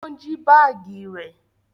Wọn jí baagi rẹ